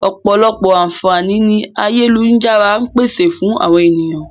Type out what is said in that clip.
Ọ̀pọ̀lọpọ̀ àǹfààní ni ayélujára ń pèsè fún àwọn ènìyàn